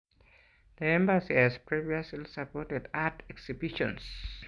The Embassy has previously supported art exhibitions.